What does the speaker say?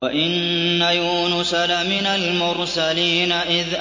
وَإِنَّ يُونُسَ لَمِنَ الْمُرْسَلِينَ